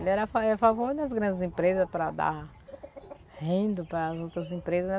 Ele era a fa era a favor das grandes empresa para dar renda para as outras empresa.